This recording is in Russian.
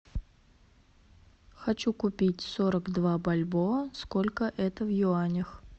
хочу купить сорок два бальбоа сколько это в юанях